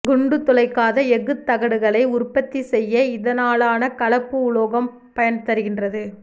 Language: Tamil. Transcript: குண்டு துளைக்காத எஃகுத் தகடுகளை உறபத்தி செய்ய இதனாலான கலப்பு உலோகம் பயன் தருகின்றது